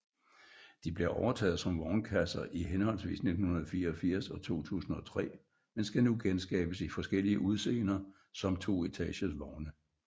De blev overtaget som vognkasser i henholdsvis 1984 og 2003 men skal nu genskabes i forskellige udseender som toetages vogne